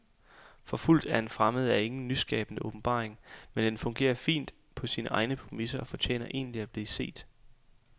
Forfulgt af en fremmed er ingen nyskabende åbenbaring, men den fungerer fint på sine egne præmisser og fortjener egentlig at blive set.